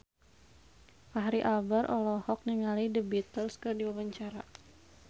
Fachri Albar olohok ningali The Beatles keur diwawancara